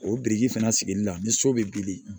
O biriki fana sigili la ni so bɛ bili